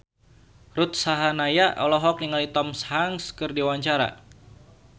Ruth Sahanaya olohok ningali Tom Hanks keur diwawancara